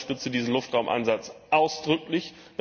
Ich unterstützte diesen Luftraumansatz ausdrücklich.